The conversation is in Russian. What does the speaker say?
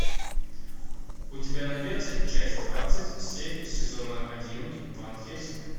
у тебя найдется часть двадцать семь сезона один ван хельсинг